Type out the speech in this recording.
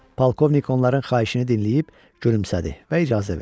Polkovnik onların xahişini dinləyib, gülümsədi və icazə verdi.